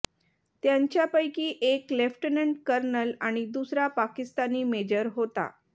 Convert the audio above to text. त्यांच्यापैकी एक lieutenant colonel आणि दुसरा पाकिस्तानी मेजर होता